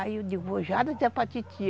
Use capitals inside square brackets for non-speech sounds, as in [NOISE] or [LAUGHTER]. Aí, eu digo, já dá [UNINTELLIGIBLE] para titia.